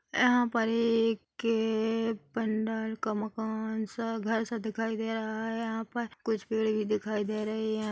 यहाँ पर ए एक भंडर का मकान सा घर सा दिखाई दे रहा है यहां पर कुछ पेड़ भी दिखाई दे रहे है ।